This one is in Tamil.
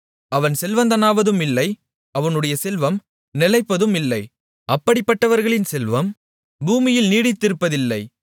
அவன் செல்வந்தனாவதுமில்லை அவனுடைய செல்வம் நிலைப்பதுமில்லை அப்படிப்பட்டவர்களின் செல்வம் பூமியில் நீடித்திருப்பதில்லை